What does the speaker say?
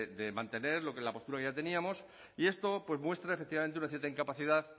de mantener la postura que ya teníamos y esto muestra efectivamente una cierta incapacidad